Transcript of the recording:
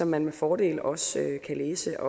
man med fordel også kan læse